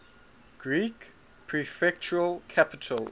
greek prefectural capitals